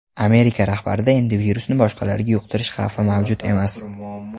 Amerika rahbarida endi virusni boshqalarga yuqtirish xavfi mavjud emas.